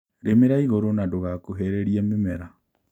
Rĩmĩra igũrũ na ndũgakuhĩrĩrie mĩmera